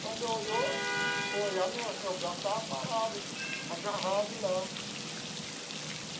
Quando olhou, foi olhar meu meu braço estava parado, agarrado lá.